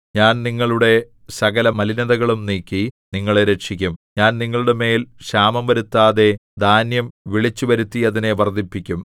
ഞാൻ നിങ്ങളുടെ സകല മലിനതകളും നീക്കി നിങ്ങളെ രക്ഷിക്കും ഞാൻ നിങ്ങളുടെമേൽ ക്ഷാമം വരുത്താതെ ധാന്യം വിളിച്ചുവരുത്തി അതിനെ വർദ്ധിപ്പിക്കും